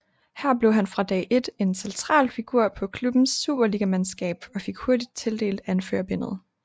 Her blev han fra dag ét en central figur på klubbens superligamandskab og fik hurtigt tildelt anførerbindet